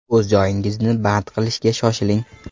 O‘z joyingizni band qilishga shoshiling.